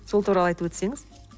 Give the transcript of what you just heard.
сол туралы айтып өтсеңіз